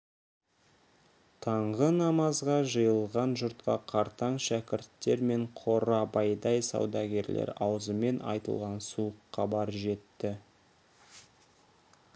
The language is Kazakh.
таңғы намазға жиылған жұртқа қартаң шәкірттер мен қорабайдай саудагерлер аузымен айтылған суық хабар жетті